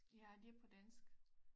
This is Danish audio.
Ja det er på dansk